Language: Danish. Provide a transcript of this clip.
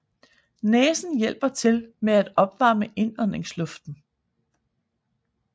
Næsen hjælper til med at opvarme indåndingsluften